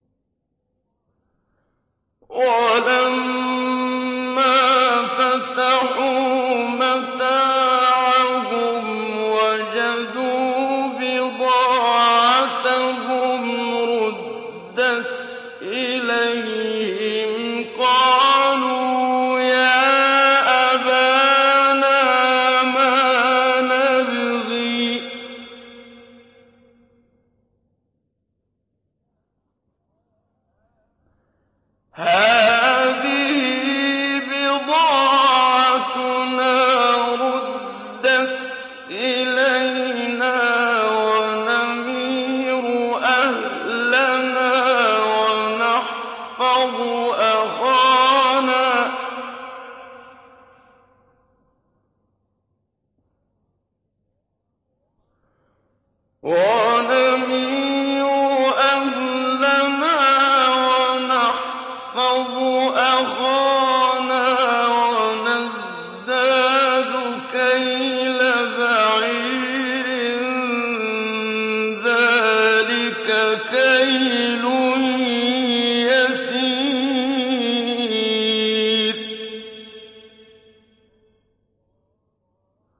وَلَمَّا فَتَحُوا مَتَاعَهُمْ وَجَدُوا بِضَاعَتَهُمْ رُدَّتْ إِلَيْهِمْ ۖ قَالُوا يَا أَبَانَا مَا نَبْغِي ۖ هَٰذِهِ بِضَاعَتُنَا رُدَّتْ إِلَيْنَا ۖ وَنَمِيرُ أَهْلَنَا وَنَحْفَظُ أَخَانَا وَنَزْدَادُ كَيْلَ بَعِيرٍ ۖ ذَٰلِكَ كَيْلٌ يَسِيرٌ